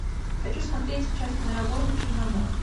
хочу смотреть сейчас киноработу черномор